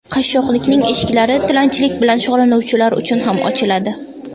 Qashshoqlikning eshiklari tilanchilik bilan shug‘ullanuvchilar uchun ham ochiladi.